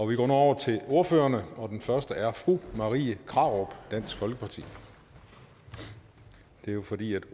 vi går nu over til ordførerne og den første er fru marie krarup dansk folkeparti det er jo fordi